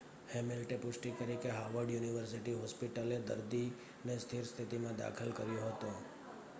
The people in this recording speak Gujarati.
હેમિલ્ટે પુષ્ટિ કરી કે હાવર્ડ યુનિવર્સિટી હોસ્પિટલે દર્દીને સ્થિર સ્થિતિમાં દાખલ કર્યો હતો